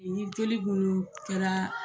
Ni joli kun kɛra